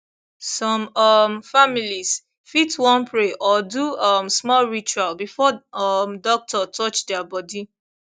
some um families fit wan pray or do um small ritual before um doctor touch their body